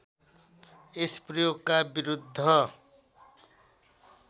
यस प्रयोगका विरूद्ध